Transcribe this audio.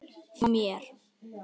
Fer frá mér.